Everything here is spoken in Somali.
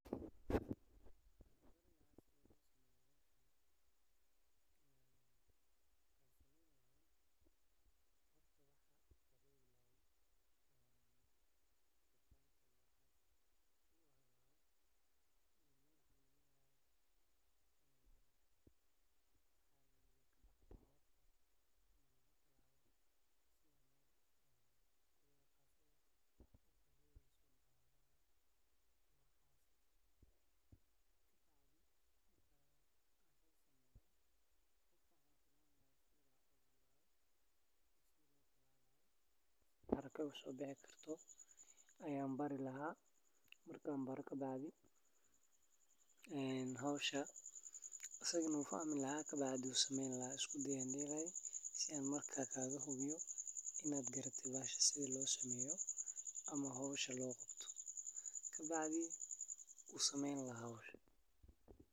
Si aad si wanaagsan u qorsheysato dakhligaaga bishii, waa muhiim inaad la timaado nidaam miisaaniyad leh oo kaa caawinaya inaad xakameyso kharashaadka, kaydsato, oo aad gaarto yoolalkaaga maaliyadeed. Halkan waxaa ku yaal talaabooyin fudud oo waxtar leh: Ogaanshaha Dakhliga Dhammaa Ugu horreyn, ogow inta lacag ah ee aad bishii soo gasho ka timid mushaar, ganacsi, kirada guryo, iwaran Tani waa saldhigga qorshahaaga. Qor Kharashaadka Joogtada ah